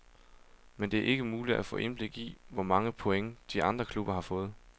Men det er ikke muligt at få indblik i, hvor mange point de andre klubber har fået.